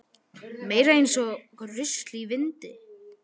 Meira eins og rusl í vindi.